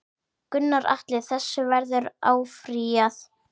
Gunnar Atli: Þessu verður áfrýjað?